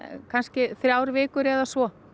kannski þrjár vikur eða svo